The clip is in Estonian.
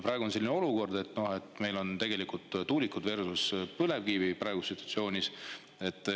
Praegu on selline olukord, kus meil on tegelikult tuulikud versus põlevkivi.